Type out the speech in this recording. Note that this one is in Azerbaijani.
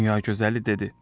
Dünya gözəli dedi: